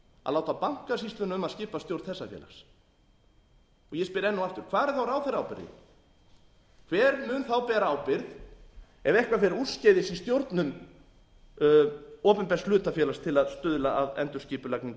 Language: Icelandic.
að láta bankasýsluna um að skipa stjórn þessa félags ég spyr enn og aftur hvar er þá ráðherraábyrgðin hver mun þá bera ábyrgð ef eitthvað fer úrskeiðis í stjórnun opinbers hlutafélags til að stuðla að endurskipulagningu